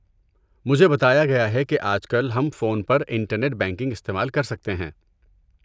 مجھے بتایا گیا ہے کہ آج کل ہم فون پر انٹرنیٹ بینکنگ استعمال کر سکتے ہیں۔